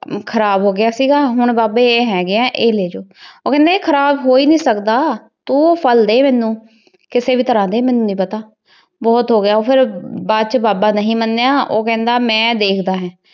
ਖਰਾਬ ਹੋ ਗਯਾ ਸੀਗਾ ਮਤਲਬ ਬਾਬਾ ਜੀ ਈਯ ਹੇਗ੍ਯ ਈਯ ਲੇ ਜੋ ਊ ਨਾਈ ਖਰਾਬ ਹੂ ਈ ਨਾਈ ਸਕਦਾ ਤੂ ਊ ਪਹਲ ਡੀ ਮੇਨੂ ਕਿਸੀ ਵੀ ਤਰਹ ਡੀ ਮੇਨੂ ਨਾਈ ਪਤਾ ਬੋਹਤ ਹੋਗਯਾ ਫੇਰ ਬਾਦ ਚ ਬਾਬਾ ਨਹੀ ਮਨੀ ਊ ਕਹੰਦਾ ਮੈਂ ਦੇਖਦਾ ਹੇਨ